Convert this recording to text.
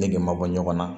Nege ma bɔ ɲɔgɔn na